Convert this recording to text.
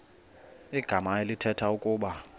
igama elithetha ukuba